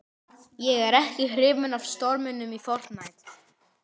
Ekki hrifin af þjóðstjórn